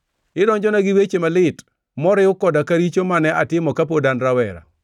Idonjona gi weche malit, moriw koda ka richo mane atimo kapod an rawera.